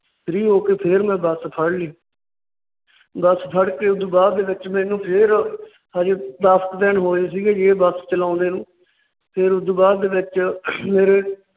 free ਹੋ ਕੇ ਫਿਰ ਮੈਂ ਬੱਸ ਫੜ ਲਈ। ਬੱਸ ਫੜ ਕੇ ਉਸ ਤੋਂ ਬਾਅਦ ਦੇ ਵਿਚ ਮੈਨੂੰ ਫਿਰ ਹਜੇ ਦੱਸ ਕੁ ਦਿਨ ਹੋਏ ਸੀਗੇ ਜੇ ਬੱਸ ਚਲਾਉਂਦੇ ਨੂੰ। ਫੇਰ ਉਸ ਤੋਂ ਬਾਅਦ ਦੇ ਵਿੱਚ ਮੇਰੇ